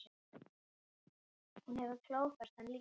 Hún hefur klófest hann líka.